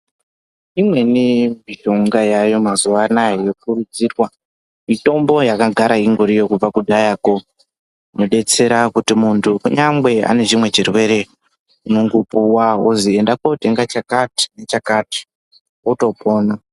Imweni mishonga yamazuva ano aya yokurudzirwa, mitombo yakagara ingoriyo kubva kudharako inodetsera kuti muntu kunyange ane chimwe chirwere unongopuwa kunzi enda unotenga chakati nechakati otopona.